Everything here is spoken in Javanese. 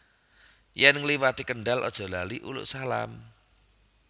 Yen ngliwati Kendal aja lali uluk salam